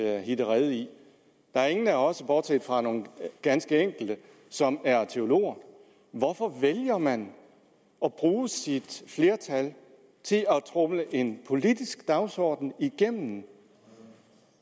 at hitte rede i der er ingen af os bortset fra nogle ganske enkelte som er teologer hvorfor vælger man at bruge sit flertal til at tromle en politisk dagsorden igennem